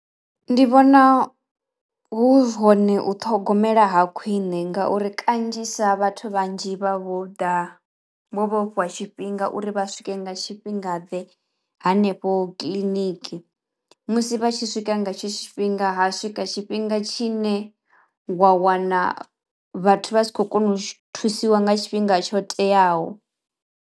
Ndi vhona hu hone u ṱhogomela ha khwine ngauri kanzhisa vhathu vhanzhi vha vho ḓa vho tshifhinga uri vha swike nga tshifhinga ḓe hanefho kiḽiniki. Musi vha tshi swika nga hetsho tshifhinga ha swika tshifhinga tshi ne wa wana vhathu vha si khou kona u shu u thusiwa nga tshifhinga tsho teaho.